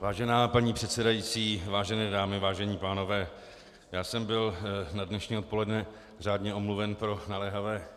Vážená paní předsedající, vážené dámy, vážení pánové, já jsem byl na dnešní odpoledne řádně omluven pro naléhavé